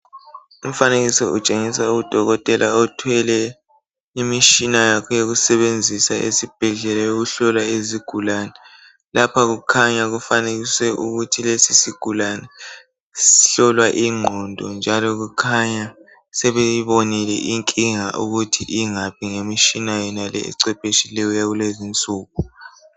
Umfanekiso utshengisa udokotela othwele imitshina yakhe yokusebenzisa esibhedlela yokuhlola izigulane lapha kukhanya kufanekisiwe ukuthi lesi sigulane sihlolwa ingqondo njalo kukhanya sebeyibonile inkinga ukuthi ingaphi ngemitshina ecwephetshileyo eyakulezi insuku.